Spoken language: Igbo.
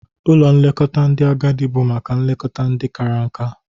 Ụlọ nlekọta ndị agadị bụ maka nlekọta ndị kara nka.